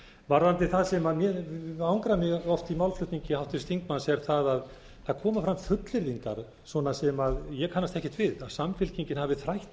varðandi það sem angrar mig oft í málflutningi háttvirts þingmanns er það að það koma fram fullyrðingar svona sem ég kannast ekkert við að samfylkingin hafi þrætt fyrir að hafa verið